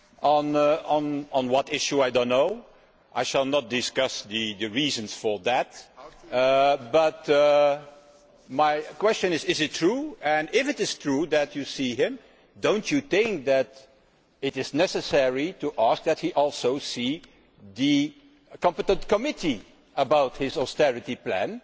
On what issue, I do not know and I shall not discuss the reasons for that, but my question is is it true? And if it is true that you will see him, do you not think that it is necessary to ask that he also meet the competent committee about his austerity plan